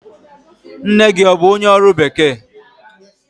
Nne gị ọ bụ onye ọrụ bekee?